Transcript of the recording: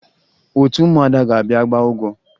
Otu ụmụada ga-abịa gbaa ụgwọ